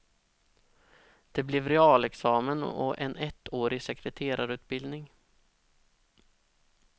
Det blev realexamen och en ettårig sekreterarutbildning.